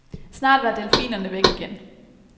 Snart var delfinerne væk igen.